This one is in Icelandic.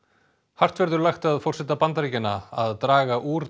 hart verður lagt að forseta Bandaríkjanna að draga úr